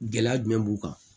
Gɛlɛya jumɛn b'u kan